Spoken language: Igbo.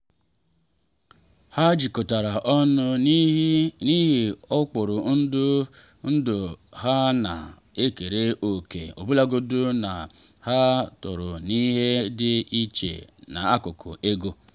ha jikọtara ọnụ n’ihi ụkpụrụ ndụ ha na ekere òkè ọbụlagodi na ha toro n’ihe dị iche n’akụkụ ego